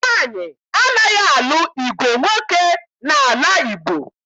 Nwaanyị anaghị alụ ìgwè nwoke n'ala Igbo